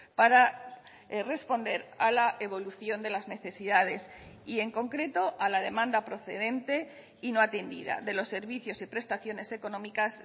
para responder a la evolución de las necesidades y en concreto a la demanda procedente y no atendida de los servicios y prestaciones económicas